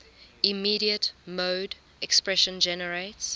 immediate mode expression generates